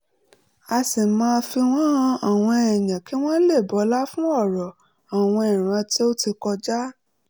a sì máa ń fi wọ́n han àwọn èèyàn kí wọ́n lè bọlá fún ọ̀rọ̀ àwọn ìran tó ti kọjá